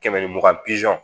Kɛmɛ ni mugan pizɔn